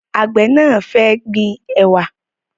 Àgbẹ̀ náà fẹ́ gbin ẹ̀wà